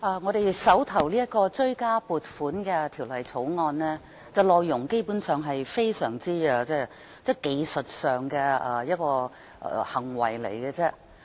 我們手上的《追加撥款條例草案》的內容基本上只屬技術性質。